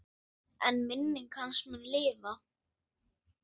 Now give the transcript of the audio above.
En minning hans mun lifa.